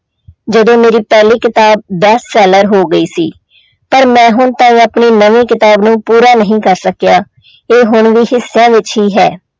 ਜਦੋਂ ਮੇਰੀ ਪਹਿਲੀ ਕਿਤਾਬ best seller ਹੋ ਗਈ ਸੀ ਪਰ ਮੈਂ ਹੁਣ ਤਾਈਂ ਆਪਣੀ ਨਵੀਂ ਕਿਤਾਬ ਨੂੂੰ ਪੂਰਾ ਨਹੀਂ ਕਰ ਸਕਿਆ ਇਹ ਹੁਣ ਵੀ ਹਿੱਸਿਆਂ ਵਿੱਚ ਹੀ ਹੈ।